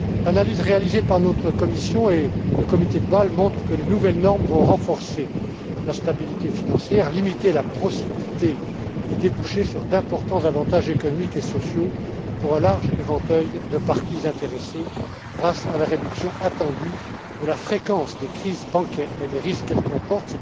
L'analyse réalisée par notre Commission et le Comité de Bâle montre que les nouvelles normes vont renforcer la stabilité financière, limiter la procyclité et déboucher sur d'importants avantages économiques et sociaux pour un large éventail de parties intéressées, grâce à la réduction attendue de la fréquence des crises bancaires et des risques qu'elle comporte.